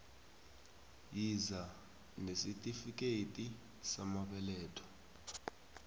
yiza nesitifikethi samabeletho